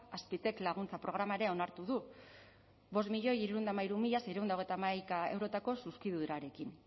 azpitek laguntza programa ere onartu du bost milioi hirurehun eta hamairu mila seiehun eta hogeita hamaika eurotako zuzkidurarekin